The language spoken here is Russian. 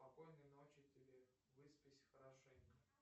спокойной ночи тебе выспись хорошенько